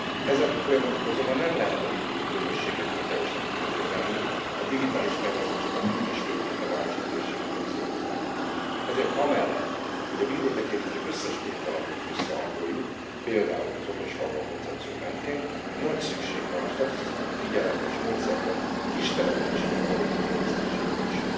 Ezen folyamatot azonban nem lehet a vidéki közösségektől teljesen külön kezelni a digitális fejlesztések már így is főként a városi térségeket célozzák. Ezért amellett, hogy a vidéket érintő összes pénzalapot összehangoljuk például az okosfalvak koncepció mentén nagy szükség van a statisztikai figyelem és módszertan kistelepülésekre való kiterjesztésére is.